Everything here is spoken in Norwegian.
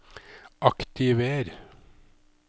aktiver